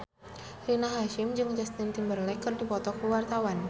Rina Hasyim jeung Justin Timberlake keur dipoto ku wartawan